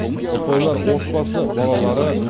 ұпайлар отбасы балалары